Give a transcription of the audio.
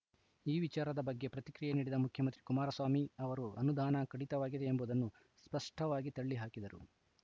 ಈ ವಿಚಾರದ ಬಗ್ಗೆ ಪ್ರತಿಕ್ರಿಯೆ ನೀಡಿದ ಮುಖ್ಯಮಂತ್ರಿ ಕುಮಾರಸ್ವಾಮಿ ಅವರು ಅನುದಾನ ಕಡಿತವಾಗಿದೆ ಎಂಬುದನ್ನು ಸ್ಪಷ್ಟವಾಗಿ ತಳ್ಳಿಹಾಕಿದರು